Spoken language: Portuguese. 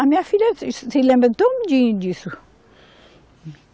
A minha filha se, se lembra todinho disso.